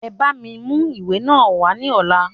E bá mi mú ìwé náà wá ní ọ̀la.